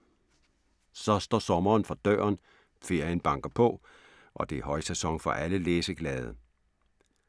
Så står sommeren for døren. Ferien banker på og det er højsæson for alle læseglade.